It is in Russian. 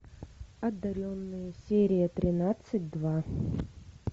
одаренные серия тринадцать два